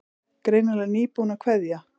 Greinilega nýbúin að kveðja.